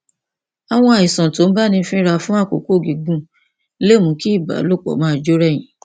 àwọn àìsàn tó ń báni fínra fún àkókò gígùn lè mú kí ìbálòpọ máa jó rẹyìn